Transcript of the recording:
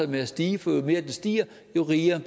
med at stige for jo mere den stiger jo mere